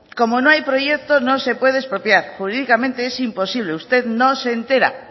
como no hay proyecto no se puede expropiar jurídicamente es imposible usted no se entera